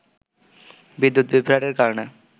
বিদ্যুৎ বিভ্রাটের কারণে